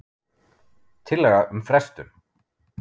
Tillaga um frestun.